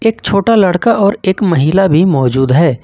एक छोटा लड़का और एक महिला भी मौजूद है।